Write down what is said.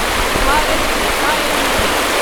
Bharat Rasayan limited